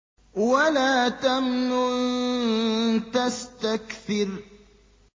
وَلَا تَمْنُن تَسْتَكْثِرُ